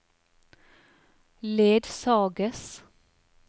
ledsages